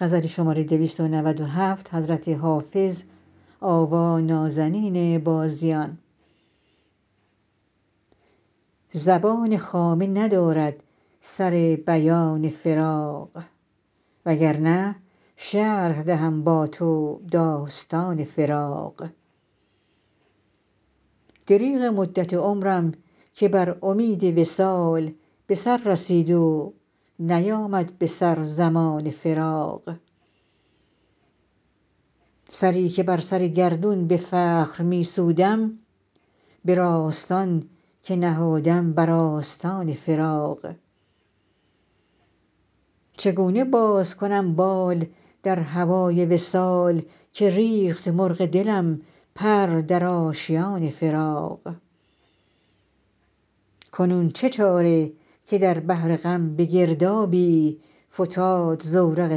زبان خامه ندارد سر بیان فراق وگرنه شرح دهم با تو داستان فراق دریغ مدت عمرم که بر امید وصال به سر رسید و نیامد به سر زمان فراق سری که بر سر گردون به فخر می سودم به راستان که نهادم بر آستان فراق چگونه باز کنم بال در هوای وصال که ریخت مرغ دلم پر در آشیان فراق کنون چه چاره که در بحر غم به گردابی فتاد زورق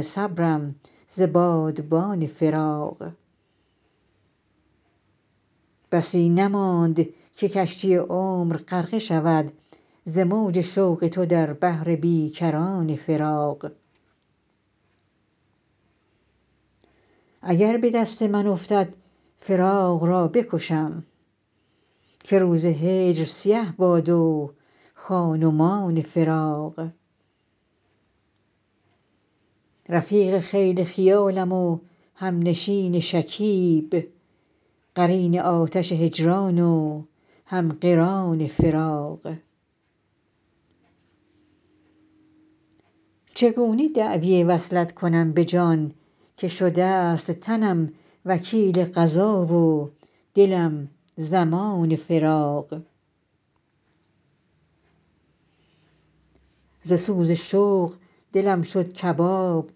صبرم ز بادبان فراق بسی نماند که کشتی عمر غرقه شود ز موج شوق تو در بحر بی کران فراق اگر به دست من افتد فراق را بکشم که روز هجر سیه باد و خان و مان فراق رفیق خیل خیالیم و همنشین شکیب قرین آتش هجران و هم قران فراق چگونه دعوی وصلت کنم به جان که شده ست تنم وکیل قضا و دلم ضمان فراق ز سوز شوق دلم شد کباب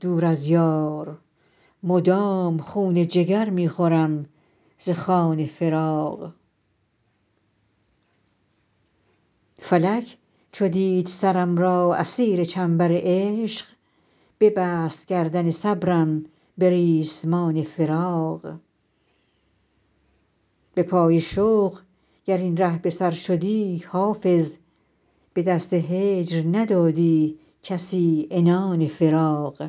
دور از یار مدام خون جگر می خورم ز خوان فراق فلک چو دید سرم را اسیر چنبر عشق ببست گردن صبرم به ریسمان فراق به پای شوق گر این ره به سر شدی حافظ به دست هجر ندادی کسی عنان فراق